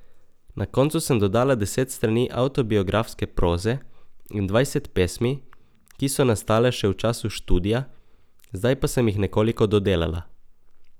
Na koncu sem dodala deset strani avtobiografske proze in dvajset pesmi, ki so nastale še v času študija, zdaj pa sem jih nekoliko dodelala.